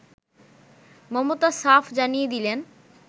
মমতা সাফ জানিয়ে দিলেন